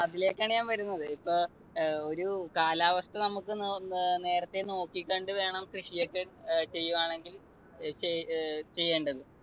അതിലേക്കാണ് ഞാൻ വരുന്നത്. ഇപ്പോ ഒരു കാലാവസ്ഥ നമുക്ക് നേരത്തെ നോക്കി കണ്ട് വേണം കൃഷിയൊക്കെ ഏർ ചെയ്യുവാണെങ്കിൽ അഹ് ചെയ്യേണ്ടത്.